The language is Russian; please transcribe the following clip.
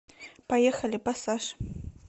поехали пассаж